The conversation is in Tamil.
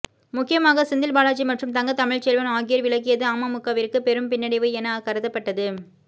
முக்கியமாக செந்தில் பாலாஜி மற்றும் தங்க தமிழ்ச்செல்வன் ஆகியோர் விலகியது அமமுகவிற்கு பெரும் பின்னடைவு என கருதப்பட்டது